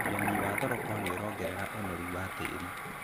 Ũrĩmi wa thoroko nĩũrongerera ũnoru wa tĩĩri.